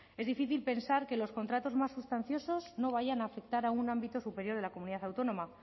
es difícil pensar que los contratos más sustanciosos no vayan a afectar a un ámbito superior de la comunidad autónoma